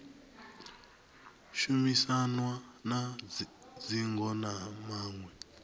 shumisanwa na dzingo na maṅwe